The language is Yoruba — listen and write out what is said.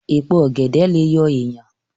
Èpo ọ̀gẹ̀dẹ̀ lè yọ èèyàn